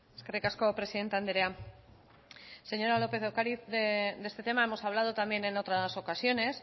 eskerrik asko presidente andrea señora lópez de ocariz de este tema hemos hablado también en otras ocasiones